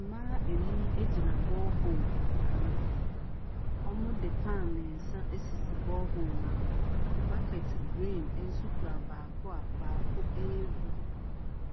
Mmaa nnum gyina borehole ano. Wɔde pan mmeɛnsa asisi borehole no ano. Bucket green nso kura baako a baako rebu